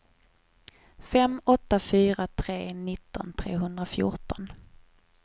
fem åtta fyra tre nitton trehundrafjorton